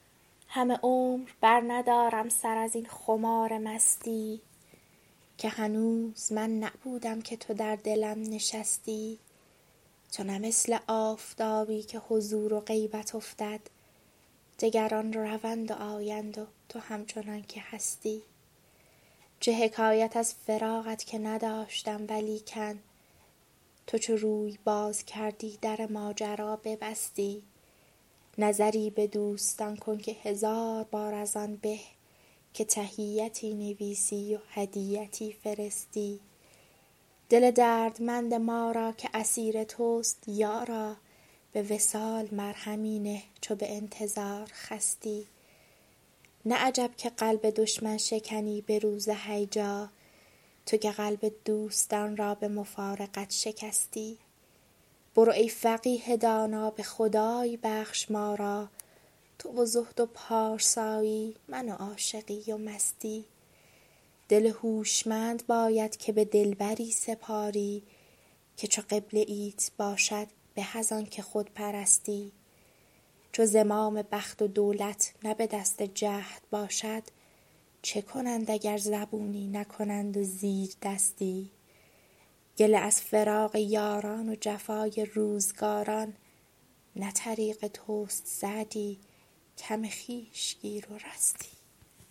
همه عمر برندارم سر از این خمار مستی که هنوز من نبودم که تو در دلم نشستی تو نه مثل آفتابی که حضور و غیبت افتد دگران روند و آیند و تو همچنان که هستی چه حکایت از فراقت که نداشتم ولیکن تو چو روی باز کردی در ماجرا ببستی نظری به دوستان کن که هزار بار از آن به که تحیتی نویسی و هدیتی فرستی دل دردمند ما را که اسیر توست یارا به وصال مرهمی نه چو به انتظار خستی نه عجب که قلب دشمن شکنی به روز هیجا تو که قلب دوستان را به مفارقت شکستی برو ای فقیه دانا به خدای بخش ما را تو و زهد و پارسایی من و عاشقی و مستی دل هوشمند باید که به دلبری سپاری که چو قبله ایت باشد به از آن که خود پرستی چو زمام بخت و دولت نه به دست جهد باشد چه کنند اگر زبونی نکنند و زیردستی گله از فراق یاران و جفای روزگاران نه طریق توست سعدی کم خویش گیر و رستی